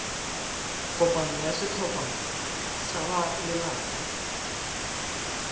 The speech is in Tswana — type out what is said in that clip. kopano ya setlhopha sa balelapa